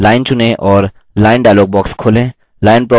line चुनें और line dialog box खोलें